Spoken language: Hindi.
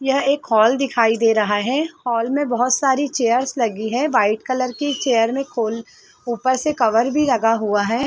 यह एक हॉल दिखाई दे रहा है हॉल में बहुत सारी चेयर्स लगी हैं वाइट कलर की चेयर में खोल ऊपर से कवर भी लगा हुआ है।